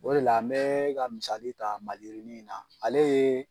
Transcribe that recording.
O de la n bɛɛ ka misali ta maliyirinin in na ale ye